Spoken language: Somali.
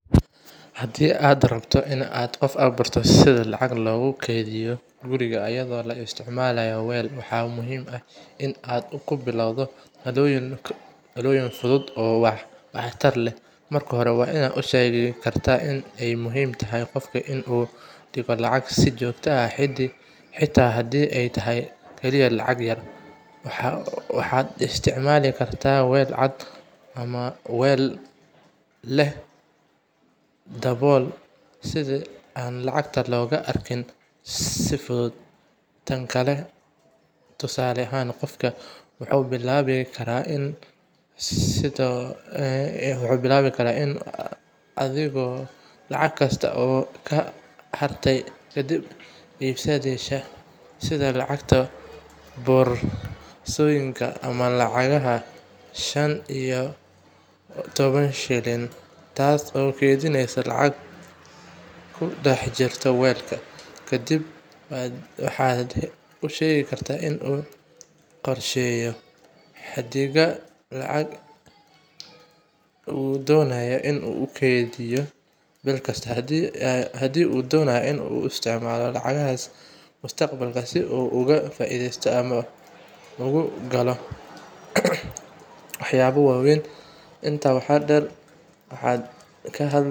Haddii aad rabto in aad qof baro sida lacag loogu keydiyo guriga iyadoo la isticmaalayo weel, waxaa muhiim ah in aad ku bilowdo talooyin fudud oo waxtar leh. Marka hore, waxaad u sheegi kartaa in ay muhiim tahay in qofka uu dhigto lacag si joogto ah, xitaa haddii ay tahay kaliya lacag yar. Waxaad isticmaali kartaa weel cad ama mid leh dabool si aan lacagta looga arkin si fudud. Tusaale ahaan, qofka wuxuu bilaabi karaa inuu dhigo lacag kasta oo ka soo hartay kadib iibsashada, sida lacagta boorsooyinka ama lacagaha shan iyo toban shilin, taas oo noqonaysa lacag ku dhex jirta weelka. Kadib, waxaad u sheegi kartaa in uu qorsheeyo xaddiga lacagta uu doonayo in uu keydiyo bil kasta, haddii uu doonayo in uu u isticmaalo lacagahaas mustaqbalka si uu uga faa’iidaysto ama ugu galo waxyaabo waaweyn.